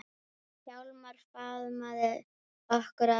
Hjálmar faðmaði okkur að sér.